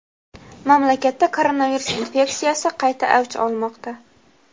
mamlakatda koronavirus infeksiyasi qayta avj olmoqda.